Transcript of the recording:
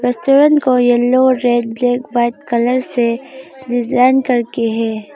को yellow red black white colour design करके है।